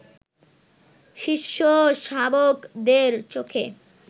শিষ্য-শাবকদের চোখে